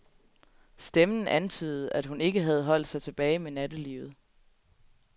Stemmen antydede, at hun ikke havde holdt sig tilbage med nattelivet.